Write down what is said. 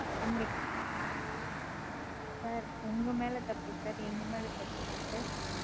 Sir உங்கமேல தப்பு Sir எங்கமேல தப்பு இல்ல Sir,